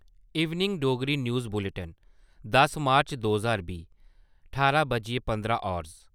evening Dogri news bulletin दस मार्च दो ज्हार बीह् ठारां बज्जियै पंदरां हावर्स